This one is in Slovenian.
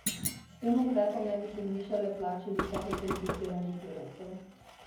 S tem ukrepom naj bi se zvišale plače visokokvalificiranih delavcev.